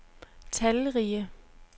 talrige